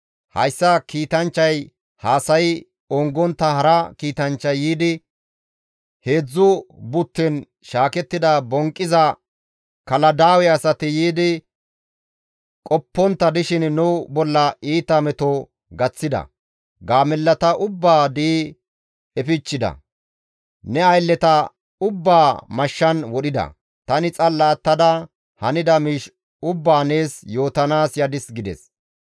Hayssa kiitanchchay haasayi ongontta hara kiitanchchay yiidi, «Heedzdzu butten shaakettida bonqqiza Kaladaawe asati yiidi qoppontta dishin nu bolla iita meto gaththida; gaamellata ubbaa di7i efichchida; ne aylleta ubbaa mashshan wodhida; tani xalla attada hanida miish ubbaa nees yootanaas yadis» gides.